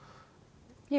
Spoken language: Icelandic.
ég